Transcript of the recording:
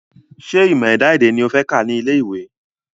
Ṣé ìmọ̀ ẹ̀dá-èdè ni o fẹ́ kà ní ilé ìwé?